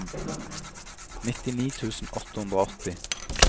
nittini tusen åtte hundre og åtti